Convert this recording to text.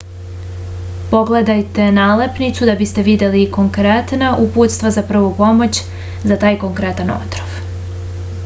pogledajte nalepnicu da biste videli konkretna uputstva za prvu pomoć za taj konkretan otrov